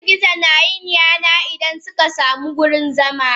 Girgizo nayin yana Idan suka samu wurin zama.